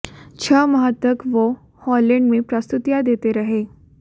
छह माह तक वह हॉलैंड में प्रस्तुतियां देते रहे